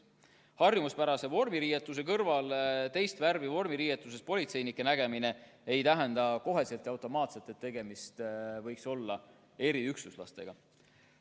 Harjumuspärase vormiriietuse kõrval teist värvi vormiriietuses politseinike nägemine ei tähenda automaatselt, et tegemist võiks olla eriüksuslastega.